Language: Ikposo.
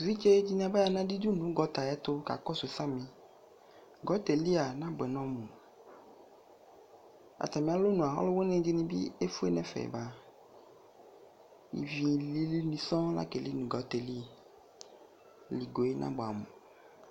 Evidze ɖini baya nʋ aɖidu nʋ gɔta ɛtu kakosu samiGɔtayɛlia ɔnabuɛ nɔmuAtami alɔnʋaa ɔluwini ɖinibi efue nʋ ɛfɛ backIvi lilni sɔŋ lakeli nʋ gɔta yɛ liLigoyɛ nabuamu